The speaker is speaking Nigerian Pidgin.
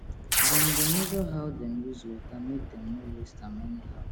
dem dey measure how dem use water make dem no waste am anyhow